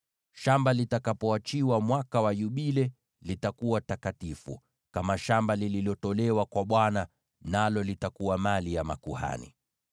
Shamba hilo litakapoachiwa mwaka wa Yubile, litakuwa takatifu, kama shamba lililotolewa kwa Bwana , nalo litakuwa mali ya makuhani.